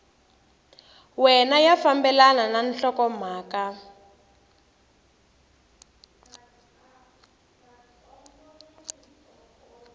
wana ya fambelana na nhlokomhaka